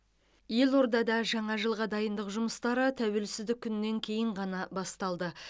елордада жаңа жылға дайындық жұмыстары тәуелсіздік күнінен кейін ғана басталды